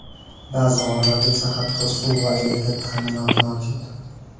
Ba’zi g‘orlarda esa hatto suv va elektr ta’minoti mavjud.